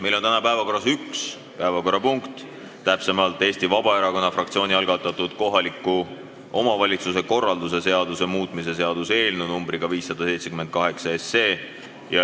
Meil on täna päevakorras üks päevakorrapunkt, Eesti Vabaerakonna fraktsiooni algatatud kohaliku omavalitsuse korralduse seaduse muutmise seaduse eelnõu nr 578.